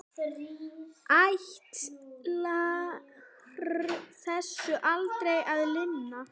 Ætlar þessu aldrei að linna?